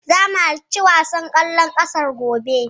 Zamu halarci wasan ƙwallon ƙafar, gobe.